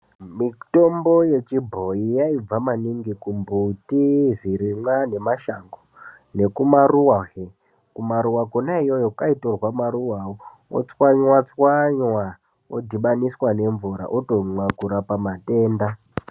Mitombo yechibhoyi yaibva maningi kumbuti zvirimwa nemashango nekumaruwa hee kumaruwa kwona iyoyo kwaitorwa maruwawo otswanywa tswanya odhibaniswa nemvura otomwa kurapa matenda.